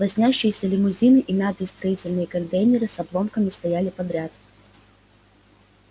лоснящиеся лимузины и мятые строительные контейнеры с обломками стояли подряд